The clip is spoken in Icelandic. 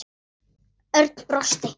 Örn brosti.